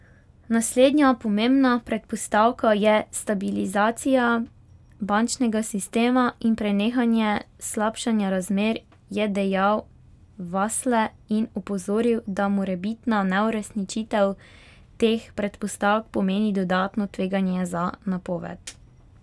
Naslednja pomembna predpostavka je stabilizacija bančnega sistema in prenehanje slabšanja razmer, je dejal Vasle in opozoril, da morebitna neuresničitev teh predpostavk pomeni dodatno tveganje za napoved.